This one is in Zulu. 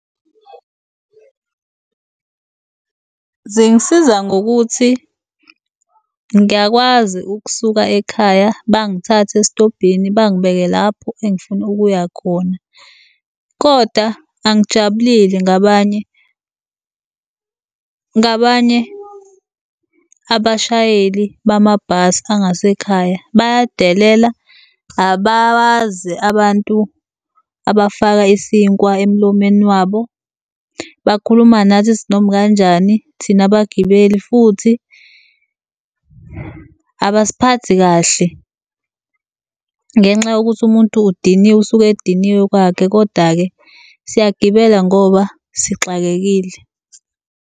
Zingisiza ngokuthi ngiyakwazi ukusuka ekhaya bangithathe esitobhini bangibeke lapho engifuna ukuya khona koda angijabulile ngabanye ngabanye abashayeli bamabhasi angasekhaya. Bayadelela, abawazi abantu abafaka isinkwa emlomeni wabo, bakhuluma nathi isinomi kanjani thina bagibeli. Futhi abasiphathi kahle ngenxa yokuthi umuntu udiniwe, usuke ediniwe kwakhe. Koda-ke siyagibela ngoba sixakekile.